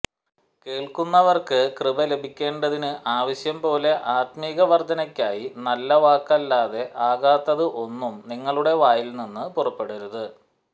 കേൾക്കുന്നവർക്കു കൃപ ലഭിക്കേണ്ടതിന്നു ആവശ്യംപോലെ ആത്മികവർദ്ധനെക്കായി നല്ല വാക്കല്ലാതെ ആകാത്തതു ഒന്നും നിങ്ങളുടെ വായിൽ നിന്നു പുറപ്പെടരുതു